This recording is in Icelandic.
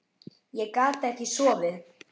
Ég gat ekkert sofið.